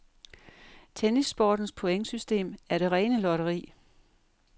Tennissportens pointsystem er det rene lotteri.